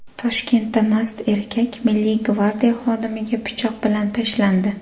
Toshkentda mast erkak Milliy gvardiya xodimiga pichoq bilan tashlandi.